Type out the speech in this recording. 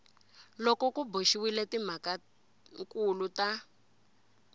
loko ku boxiwile timhakankulu ta